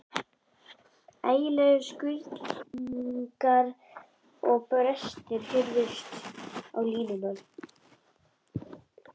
Ægilegir skruðningar og brestir heyrðust á línunni.